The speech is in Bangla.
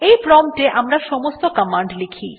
এই প্রম্পট এ আমরা সমস্ত কমান্ড লিখি